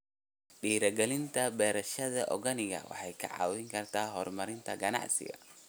Dhiirigelinta beerashada organic waxay ka caawisaa horumarinta ganacsiga.